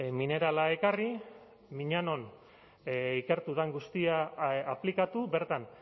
minerala ekarri miñanon ikertu den guztia aplikatu bertan